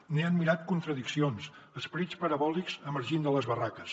n’he admirat contradiccions esperits parabòlics emergint de les barraques